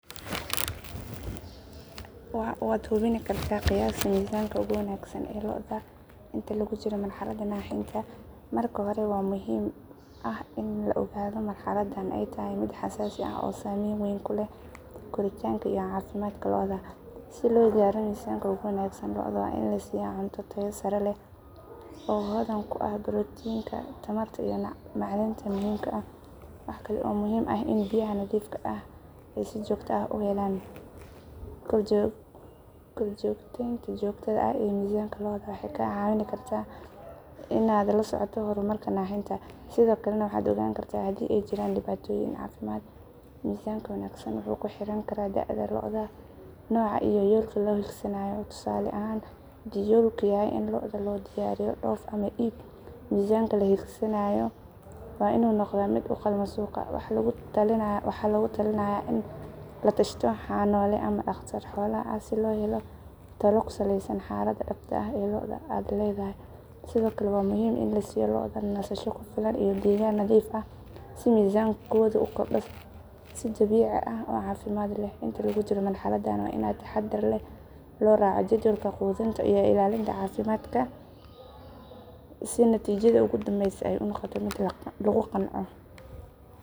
Haa, waad hubin kartaa qiyaasta miisaanka ugu wanaagsan ee lo'da inta lagu jiro marxaladda naaxinta. Marka hore, waxaa muhiim ah in la ogaado in marxaladdan ay tahay mid xasaasi ah oo saamayn weyn ku leh koritaanka iyo caafimaadka lo'da. Si loo gaaro miisanka ugu wanaagsan, lo'da waa in la siiyaa cunto tayo sare leh oo hodan ku ah borotiinka, tamarta iyo macdanta muhiimka ah. Waxa kale oo muhiim ah in biyaha nadiifka ah ay si joogto ah u helaan. Korjoogtaynta joogtada ah ee miisaanka lo'da waxay kaa caawin kartaa in aad la socoto horumarka naaxinta, sidoo kalena waxaad ogaan kartaa haddii ay jiraan dhibaatooyin caafimaad. Miisaanka wanaagsan wuxuu ku xirnaan karaa da'da lo'da, nooca, iyo yoolka la hiigsanayo. Tusaale ahaan, haddii yoolku yahay in lo'da loo diyaariyo dhoof ama iib, miisaanka la hiigsanayo waa inuu noqdaa mid u qalma suuqa. Waxaa lagu talinayaa in la tashato xanaanole ama dhakhtar xoolaha ah si loo helo talo ku salaysan xaaladda dhabta ah ee lo'da aad leedahay. Sidoo kale, waa muhiim in la siiyo lo'da nasasho ku filan iyo deegaan nadiif ah si miisaankoodu u kordho si dabiici ah oo caafimaad leh. Inta lagu jiro marxaladdan, waa in si taxaddar leh loo raaco jadwalka quudinta iyo ilaalinta caafimaadka si natiijada ugu dambeysa ay u noqoto mid la qanco.